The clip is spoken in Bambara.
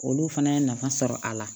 Olu fana ye nafa sɔrɔ a la